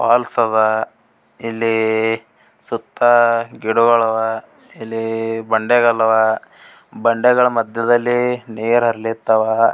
Falls ಅದ್ ಇಲ್ಲಿ ಸುತ್ತ ಗಿಡಗುಳ್ ಅವ್ ಇಲ್ಲಿ ಬಂಡೆ ಕಲ್ಲ್ ಅವ್ ಬಂಡೆಗಳ್ ಮದ್ಯದಲ್ಲಿ ನೀರ್ ಹರ್ಲಿತವ್.